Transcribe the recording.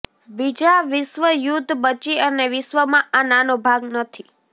બીજા વિશ્વ યુદ્ધ બચી અને વિશ્વમાં આ નાનો ભાગ નથી